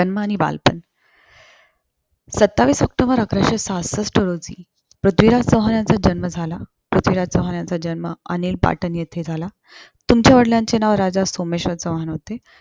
जन्म आणि बालपण, सत्तावीस ऑक्टोबर अकराशे सहासष्ट रोजी पृथ्वीराज चौहानाचा जन्म झाला. पृथ्वीराज चौहानचा जन्म अनहील पाटण येथे झाला. त्यांच्या वडिलांचे नाव राजा सोमेश्वर चौहान होते.